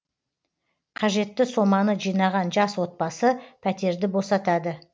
қажетті соманы жинаған жас отбасы пәтерді босатады